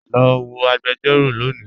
Lọ wọ̀ agbẹ̀jọ̀rọ̀ lónì